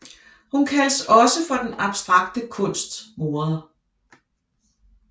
Hun kaldes også for den abstrakte kunsts moder